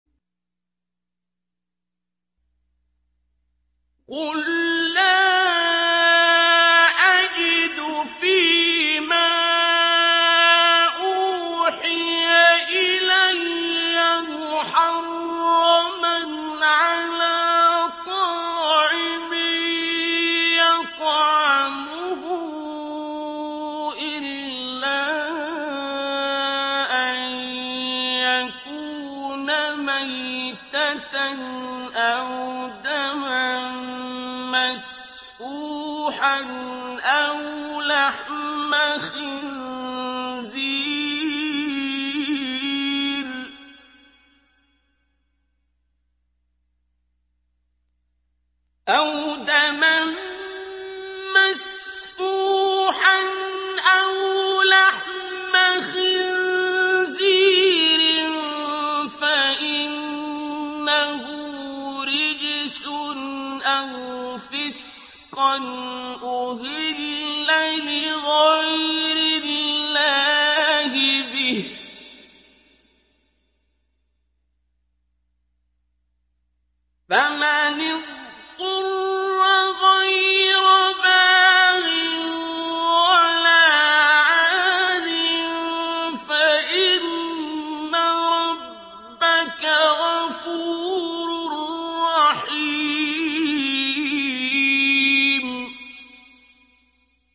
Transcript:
قُل لَّا أَجِدُ فِي مَا أُوحِيَ إِلَيَّ مُحَرَّمًا عَلَىٰ طَاعِمٍ يَطْعَمُهُ إِلَّا أَن يَكُونَ مَيْتَةً أَوْ دَمًا مَّسْفُوحًا أَوْ لَحْمَ خِنزِيرٍ فَإِنَّهُ رِجْسٌ أَوْ فِسْقًا أُهِلَّ لِغَيْرِ اللَّهِ بِهِ ۚ فَمَنِ اضْطُرَّ غَيْرَ بَاغٍ وَلَا عَادٍ فَإِنَّ رَبَّكَ غَفُورٌ رَّحِيمٌ